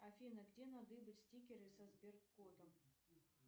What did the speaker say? афина где надыбать стикеры со сберкодом